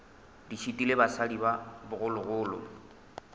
di šitile basadi ba bogologolo